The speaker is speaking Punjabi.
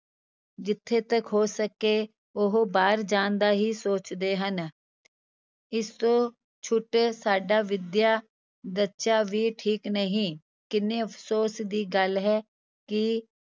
ਜਿੱਥੇ ਤੱਕ ਹੋ ਸਕੇ ਉਹ ਬਾਹਰ ਜਾਣ ਦਾ ਹੀ ਸੋਚਦੇ ਹਨ ਇਸ ਤੋਂ ਛੁੱਟ ਸਾਡਾ ਵਿੱਦਿਆ ਵੀ ਠੀਕ ਨਹੀਂ, ਕਿੰਨੇ ਅਫ਼ਸੋਸ ਦੀ ਗੱਲ ਹੈ ਕਿ